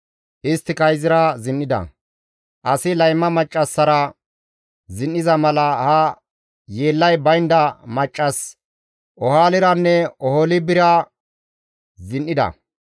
Isttika izira zin7ida; asi layma maccassara zin7iza mala ha yeellay baynda maccas Oholiranne Oholibara zin7ida.